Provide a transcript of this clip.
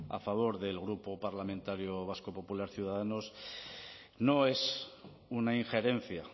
a favor del grupo parlamentario vasco popular ciudadanos no es una injerencia